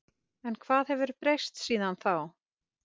En hvað hefur breyst síðan þá?